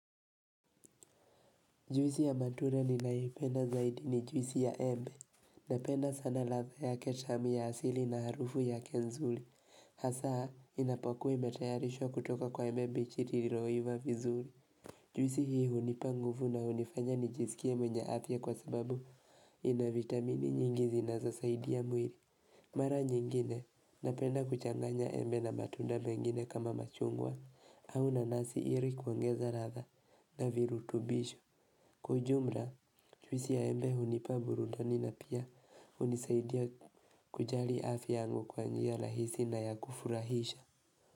Juisi ya matura ninaipenda zaidi ni juisi ya embe. Napenda sana latha yake tamu ya asili na harufu ya kenzuli. Hasaa inapokua imetayarishwa kutoka kwa embe bichi lililoiva vizuli. Juwisi hii hunipangufu na hunifanya nijisikie mwenye athya kwa sababu inavitamini nyingi zinazosaidia mwiri. Mara nyingine, napenda kuchanganya embe na matunda mengine kama machungwa, au na nasi iri kuongeza latha na virutubisho. Kwaujumra jwisi ya embe hunipa burundani na pia hunisaidia kujali afi yangu kwa njia lahisi na ya kufurahisha.